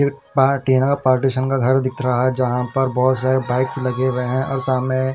फिर पार्ट यहाँ पार्टिशन का घर दिख रहा है जहाँ पर बहोत सारे बाइक्स लगे हुए हैं और सामने--